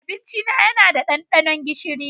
Abincina yana ɗanɗano gishiri.